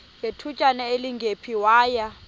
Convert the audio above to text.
ngethutyana elingephi waya